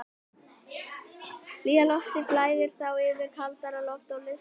Hlýja loftið flæðir þá yfir kaldara loft og lyftist upp.